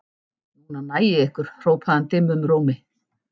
Núna næ ég ykkur hrópaði hann dimmum rómi.